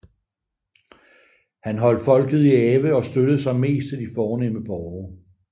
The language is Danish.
Han holdt folket i ave og støttede sig mest til de fornemme borgere